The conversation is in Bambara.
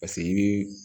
Paseke i bi